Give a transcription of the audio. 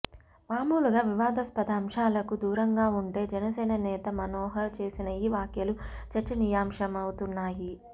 మామూలుగా వివాదాస్పద అంశాలకు దూరంగా ఉంటే జనసేన నేత మనోహర్ చేసిన ఈ వ్యాఖ్యలు చర్చనీయాంశమవుతున్నాయి